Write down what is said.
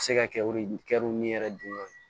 Se ka kɛ o de kɛw ni yɛrɛ dun ye